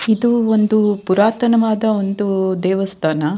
ಇದು ಒಂದು ಪುರಾತನವಾದ ಒಂದು ದೇವಸ್ಥಾನ.